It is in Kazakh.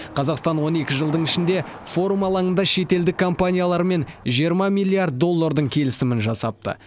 қазақстан он екі жылдың ішінде форум алаңында шетелдік компаниялармен жиырма миллиард доллардың келісімін жасапты